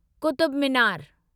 Qutub Minar